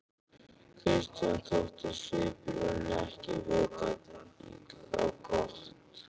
Christian þótti svipurinn ekki vita á gott.